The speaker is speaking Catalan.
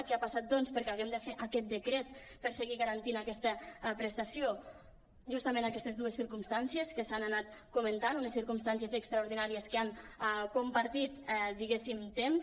què ha passat doncs perquè hàgim de fer aquest decret per seguir garantint aquesta prestació justament aquestes dues circumstàncies que s’han anat comen·tant unes circumstàncies extraordinàries que han compartit diguéssim temps